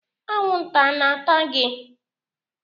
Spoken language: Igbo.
Anwụnta a na-ata gị?